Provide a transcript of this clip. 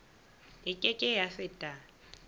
e ke ke ya feta